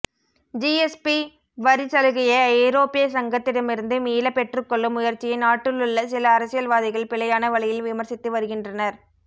GSP வரி சலுகையை ஐரோப்பிய சங்கத்திடமிருந்து மீள பெற்றுக்கொள்ளும் முயற்சியை நாட்டிலுள்ள சில அரசியல்வாதிகள் பிழையான வழியில் விமர்ச்சித்து வருகின்றனர்